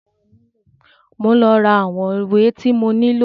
Mọ ń lọ rà àwọn ìwé tí mo nílò.